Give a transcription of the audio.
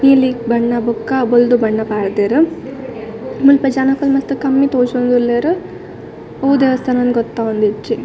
Healing ಬಣ್ಣ ಬೊಕ್ಕ ಬೊಲ್ದು ಬಣ್ಣ ಪಾಡ್ಡೆರ್ ಮುಲ್ಪ ಜನೊಕುಲು ಮಸ್ತ್ ಕಮ್ಮಿ ತೋಜೊಂದುಲ್ಲೆರ್ ಒವು ದೇವಸ್ಥಾನ ಇಂದ್ ಗೊತ್ತವೊಂದಿಜ್ಜಿ.